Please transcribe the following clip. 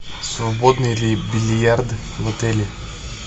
свободны ли бильярды в отеле